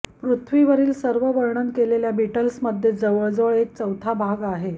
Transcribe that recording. पृथ्वीवरील सर्व वर्णन केलेल्या बीटल्समध्ये जवळजवळ एक चौथा भाग आहे